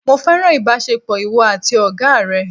Mo fẹ́ràn ìbásepọ̀ ìwọ àti Ọ̀gá rẹ̀